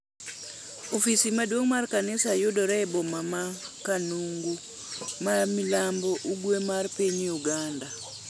Ofis maduong' mar kanisa yudore e boma ma Kanungu, ma milambo-ugwe mar piny Uganda.